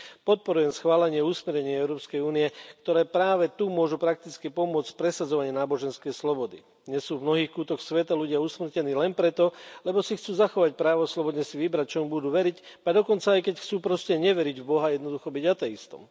Podporujem schválenie usmernení Európskej únie, ktoré práve tu môžu prakticky pomôcť v presadzovaní náboženskej slobody. Dnes sú v mnohých kútoch sveta ľudia usmrtení len preto, lebo si chcú zachovať právo slobodne si vybrať, čomu budú veriť, ba dokonca aj keď chcú proste neveriť v Boha jednoducho byť ateistom.